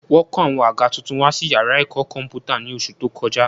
Wọ́n kó àwọn àga tuntun wá sí yàrá ẹ̀kọ́ kọ̀m̀pútà ní oṣù tó kọjá